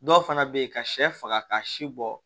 Dɔw fana bɛ yen ka sɛ faga ka si bɔ